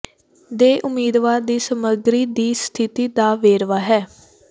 ਦੇ ਉਮੀਦਵਾਰ ਦੀ ਸਮੱਗਰੀ ਦੀ ਸਥਿਤੀ ਦਾ ਵੇਰਵਾ ਹੈ